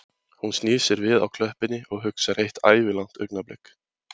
Hún snýr sér við á klöppinni og hugsar eitt ævilangt augnablik